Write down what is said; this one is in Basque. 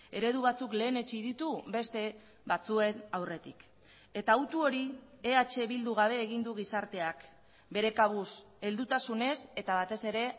eredu batzuk lehenetsi ditu beste batzuen aurretik eta hautu hori eh bildu gabe egin du gizarteak bere kabuz heldutasunez eta batez ere